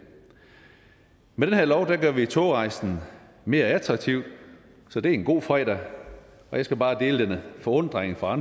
med det her lovforslag gør vi togrejsen mere attraktiv så det er en god fredag og jeg skal bare dele forundringen fra